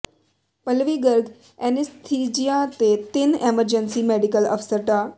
Pallavi Garg anaesthesia ਤੇ ਤਿੰੰਨ emergency medical ਅਫਸਰ ਡਾ